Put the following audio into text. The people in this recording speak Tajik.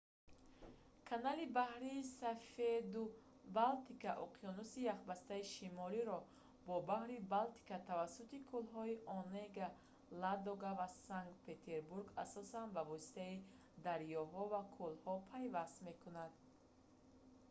канали баҳри сафеду балтика уқёнуси яхбастаи шимолиро бо баҳри балтика тавассути кӯлҳои онега ладога ва санкт-петербург асосан ба воситаи дарёҳо ва кӯлҳо пайваст мекунад